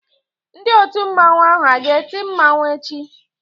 Ndị otu mmanwu ahụ a ga-eti mmanwu echi?